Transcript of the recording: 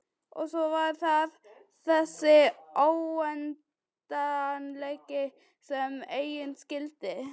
Og svo var það þessi óendanleiki sem enginn skildi.